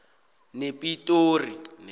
nepitori